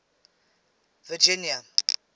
virginia